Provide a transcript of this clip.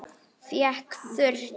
Hékk þurrt.